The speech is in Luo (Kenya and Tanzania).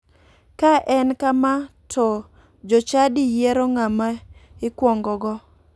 Ka en kama to jochadi yiero ng'ama ikuongogo.